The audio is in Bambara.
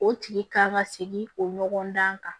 O tigi kan ka segin o ɲɔgɔndan kan